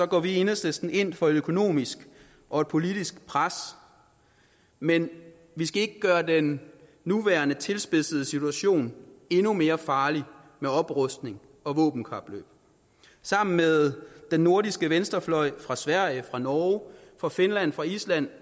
går vi i enhedslisten ind for et økonomisk og et politisk pres men vi skal ikke gøre den nuværende tilspidsede situation endnu mere farlig med oprustning og våbenkapløb sammen med den nordiske venstrefløj fra sverige fra norge fra finland fra island